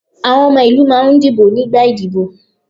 Àwọn ọmọ ìlú máà ń dìbò nígbà ìdíbò.